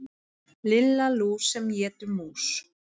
Lilla lús sem étur mús.